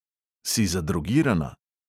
Si zadrogirana?